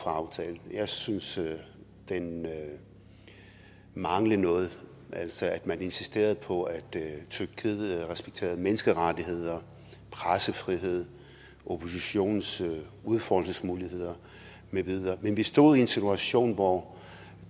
aftalen jeg synes den manglede noget altså at man insisterede på at tyrkiet respekterede menneskerettigheder pressefrihed oppositionens udfoldelsesmuligheder med videre men vi stod i en situation hvor